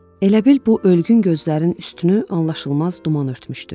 Elə bil bu ölgün gözlərin üstünü anlaşılmaz duman örtmüşdü.